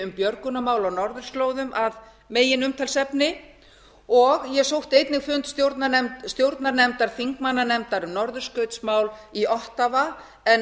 um björgunarmál á norðurslóðum að meginumtalsefni og ég sótti einnig fund stjórnarnefndar þingmannanefndar um norðurskautsmál í ottawa en